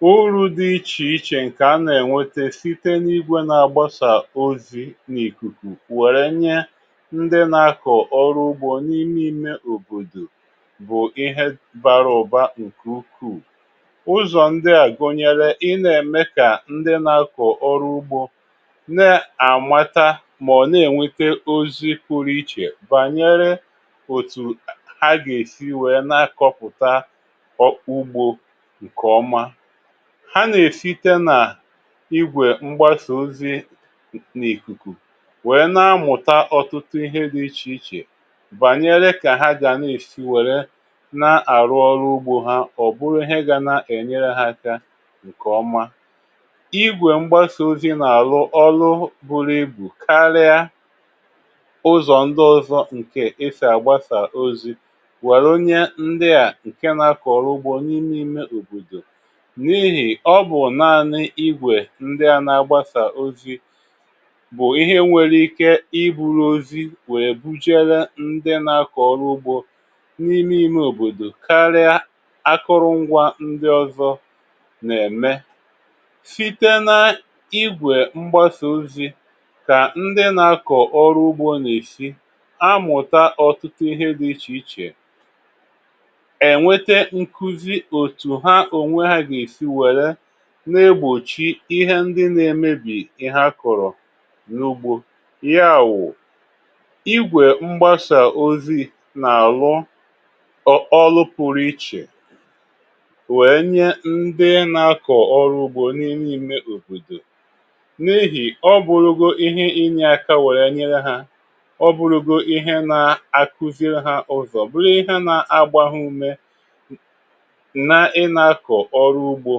Uru̇ dị ichè ichè ǹkè anà-ènwete site n’igwè na-agbasà ozi n’ìkùkù wère nye ndị nà-akọ̀ ọrụ ugbȯ n’ime ime òbòdò bụ̀ ihe bara ụ̀ba ǹkè ukwuù. Ụzọ̀ ndị à gụ̀nyèrè ị nà-ème kà ndị nà-akọ̀ ọrụ ugbȯ na-àmata mà ọ̀ na-ènwete ozi pụrụ ichè bànyere òtù ha gà-èsi wèe na-akọ̀pụ̀ta ọkpọ ugbȯ nke ọma. Ha nà-èsite na igwè mgbasà ozi̇ n’ìkùkù wè na-amụ̀ta ọtụtụ ihe dị ichè ichè bànyere kà ha gà na-èsi wère na-àrụ ọrụ ugbȯ ha ọ̀bụrụ ihe gȧ na-ènyere ha aka ǹkè ọma. Igwè mgbasà ozi̇ n’àrụ ọrụ buru ibù karia uzọ ndi ọzọ nke esi agbasà ozi welu nye ndi a nke nà-akọ̀ ọrụ ugbȯ n’ime ime òbòdò, n’ihì ọ bụ̀ naanị igwè ndị ȧ na-agbasà ozi bụ̀ ihe nwere ike ibulu ozi wèe bujere ndị na-akọ̀ ọrụ ugbȯ n’ime ime òbòdò karịa akụrụngwȧ ndị ọzọ nà-ème. Site na igwè mgbasa ozi kà ndị na-akọ̀ ọrụ ugbȯ nà-èsi amụ̀ta ọ̀tụtụ ihe dị̇ ichè ichè, enwete nkuzi otu ha onwe ha ga-esi were na-egbòchi ihe ndị na-emebì ihe a kọrọ n’ugbo. Ya wụ̀, igwè mgbasà ozi n’àlụ ọ ọlụ pụrụ ichè wè nye ndị na-akọ̀ ọrụ ugbo n’ime ime òbòdò, n’ihì ọ bụrụgo ihe inyė aka wè nyele ha, ọ bụrụgo ihe na-akuziri ha ụzọ̀, bụrụ ihe na-agbȧ ha ume n na ị̇na-akọ̀ ọrụ ugbȯ;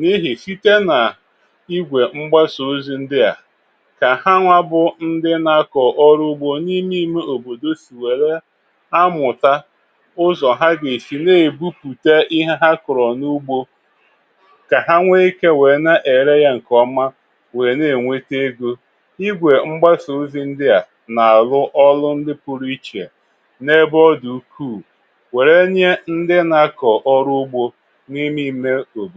n’ihì site nà igwè mgbasà ozi ndị à, kà ha nwȧ bụ ndị na-akọ̀ ọrụ ugbȯ n’ime ìme òbòdò si wère amụ̀ta ụzọ̀ ha gà-èsì na-èbupùte ihe ha kọrọ n’ugbȯ kà ha nwee ikė wèe na-ère ya ǹkèọma wèe na-ènwete egȯ. Igwè mgbasà ozi ndị à nà-àrụ ọlụ ndị pụrụ ichè n’ebe ọ dị̀ ukwùu were nye ndị na-akọ̀ ọrụ ugbȯ n’ime ime obodo